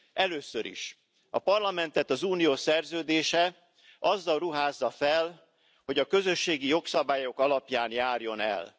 Először is A Parlamentet az Unió szerződése azzal ruházza fel, hogy a közösségi jogszabályok alapján járjon el.